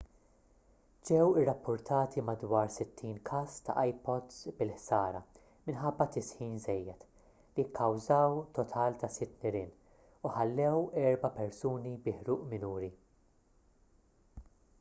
ġew irrappurtati madwar 60 każ ta' ipods bil-ħsara minħabba tisħin żejjed li kkawżaw total ta' sitt nirien u ħallew erba' persuni bi ħruq minuri